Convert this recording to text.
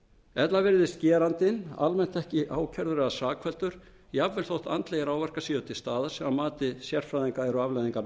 ella virðist gerandinn almennt ekki ákærður eða sakfelldur jafnvel þótt andlegir áverkar séu til staðar sem að mati sérfræðinga eru afleiðingar